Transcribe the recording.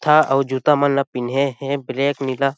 ता अउ जूता मन ला पिँधे हे ब्लैक नीला --